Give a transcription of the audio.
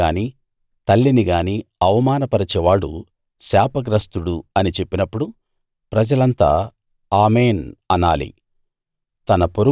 తన తండ్రినిగానీ తల్లినిగానీ అవమాన పరచేవాడు శాపగ్రస్తుడు అని చెప్పినప్పుడు ప్రజలంతా ఆమేన్‌ అనాలి